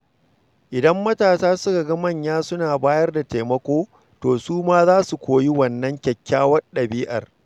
Idan matasa suka ga manya suna bayar da taimako, to su ma za su koyi wannan kyakkyawar ɗabi'a.